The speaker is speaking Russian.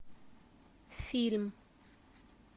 фильм